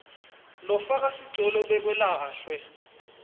lofaka sicelo bekalahlwe